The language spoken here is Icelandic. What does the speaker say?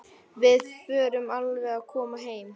Við förum alveg að koma heim.